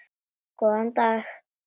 Góðan dag!